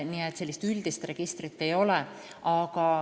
Nii et mingit üldist registrit ei ole.